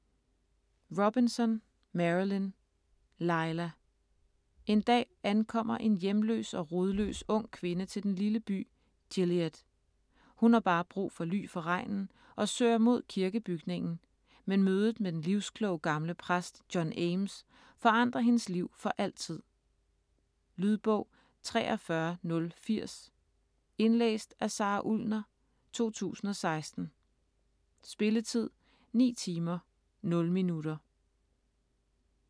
Robinson, Marilynne: Lila En dag ankommer en hjemløs og rodløs ung kvinde til den lille by Gilead. Hun har bare brug for ly for regnen og søger mod kirkebygningen, men mødet med den livskloge gamle præst John Ames forandrer hendes liv for altid. Lydbog 43080 Indlæst af Sara Ullner, 2016. Spilletid: 9 timer, 0 minutter.